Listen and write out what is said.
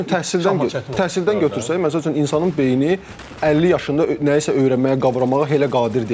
Və yaxud məsəl üçün təhsildən təhsildən götürsək, məsəl üçün insanın beyni 50 yaşında nəyisə öyrənməyə, qavramağa elə qadir deyil.